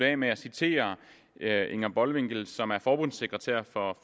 af med at citere inger bolwinkel som er forbundsekretær